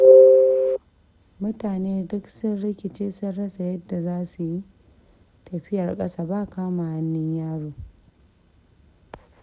Mutane duk sun rikice sun rasa yadda za su yi, tafiyar ƙasa ba kama hannun yaro.